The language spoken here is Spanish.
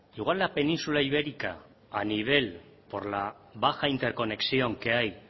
igual la península ibérica a nivel por la baja interconexión que hay